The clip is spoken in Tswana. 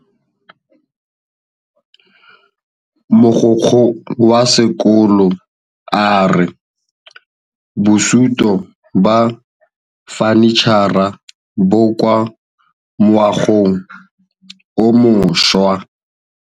Mogokgo wa sekolo a re bosutô ba fanitšhara bo kwa moagong o mošwa.